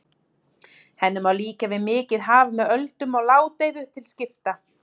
Henni má líkja við mikið haf með öldum og ládeyðu til skipta.